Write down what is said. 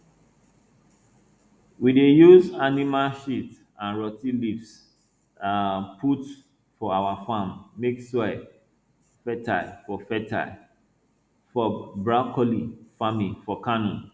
we dey use animal sheat and rot ten leaves um put for our farm make soil fertile for fertile for broccoli farming for kano